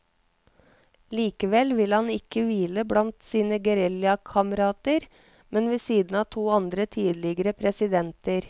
Likevel vil han ikke hvile blant sine geriljakamerater, men ved siden av to andre tidligere presidenter.